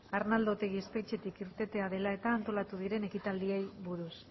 arnaldo otegi espetxetik irtetea dela eta antolatu diren ekitaldiei buruz